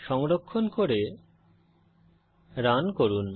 সংরক্ষণ করে রান করুন